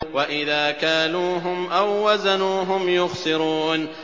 وَإِذَا كَالُوهُمْ أَو وَّزَنُوهُمْ يُخْسِرُونَ